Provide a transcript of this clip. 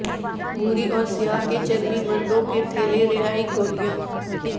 بھوری اور سیاہ کے چرمی مردوں کے تھیلے رہائی گولیاں